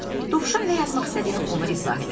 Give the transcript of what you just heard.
Dovşan nə yazmaq istədiyini ona izah elədi.